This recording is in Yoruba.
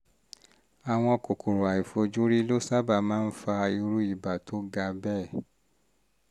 àwọn kòkòrò àìfojúrí ló sábà máa ń fa irú ibà tó ga bẹ́ẹ̀